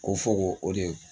Ko fɔ ko o de